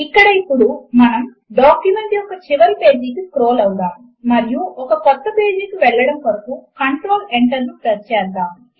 ఇక్కడ ఇప్పుడు మనము డాక్యుమెంట్ యొక్క చివరి పేజీకు స్క్రోల్ అవుదాము మరియు ఒక క్రొత్త పేజీ కు వెళ్లడము కొరకు కంట్రోల్ Enter ను ప్రెస్ చేద్దాము